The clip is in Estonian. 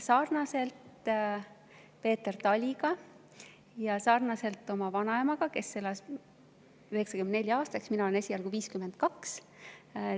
Sarnaselt minu vanaemaga, kes elas 94‑aastaseks, on Peeter Tali vanem kui mina, kes ma olen esialgu 52.